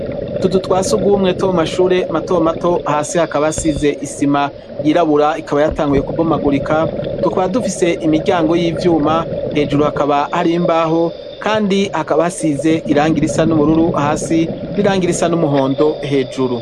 Utuzu twa sugumwe two mu mashure mato mato hasi hakaba hasize isima yirabura ikaba yatanguye kubomagurika tukaba dufise imiryango y'ivyuma hejuru hakaba hari mbaho kandi hakaba hasize irangi risa n'ubururu hasi n'irangi risa n'umuhondo hejuru.